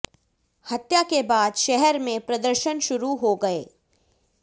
हत्या के बाद शहर में प्रदर्शन शुरू हो गए